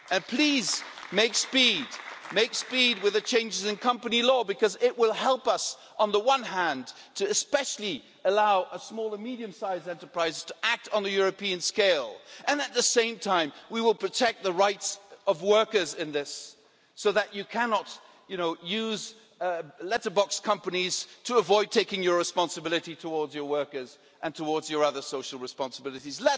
Please make speed with the changes in company law, because it will help us on the one hand to especially allow small and medium sized enterprises to act on a European scale, and at the same time we will protect the rights of workers in this so that you cannot use letterbox companies to avoid taking your responsibility towards your workers and towards your other social responsibilities.